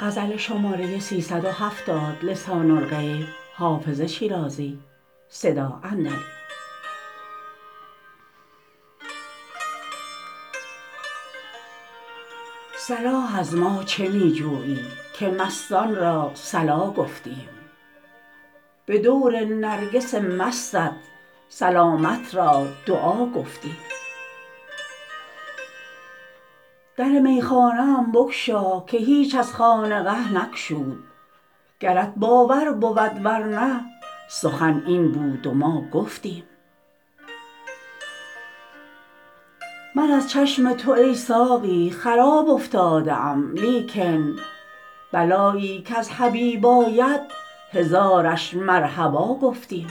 صلاح از ما چه می جویی که مستان را صلا گفتیم به دور نرگس مستت سلامت را دعا گفتیم در میخانه ام بگشا که هیچ از خانقه نگشود گرت باور بود ور نه سخن این بود و ما گفتیم من از چشم تو ای ساقی خراب افتاده ام لیکن بلایی کز حبیب آید هزارش مرحبا گفتیم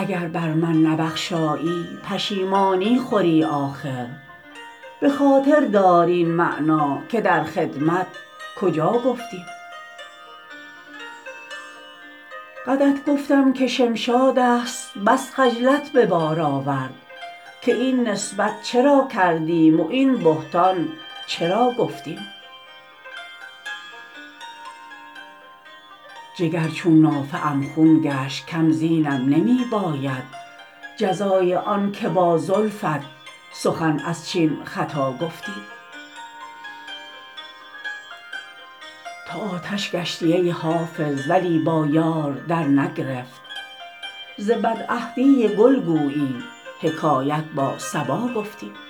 اگر بر من نبخشایی پشیمانی خوری آخر به خاطر دار این معنی که در خدمت کجا گفتیم قدت گفتم که شمشاد است بس خجلت به بار آورد که این نسبت چرا کردیم و این بهتان چرا گفتیم جگر چون نافه ام خون گشت کم زینم نمی باید جزای آن که با زلفت سخن از چین خطا گفتیم تو آتش گشتی ای حافظ ولی با یار درنگرفت ز بدعهدی گل گویی حکایت با صبا گفتیم